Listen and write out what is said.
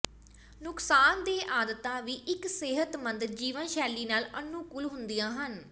ਨੁਕਸਾਨਦੇਹ ਆਦਤਾਂ ਵੀ ਇੱਕ ਸਿਹਤਮੰਦ ਜੀਵਨ ਸ਼ੈਲੀ ਨਾਲ ਅਨੁਕੂਲ ਹੁੰਦੀਆਂ ਹਨ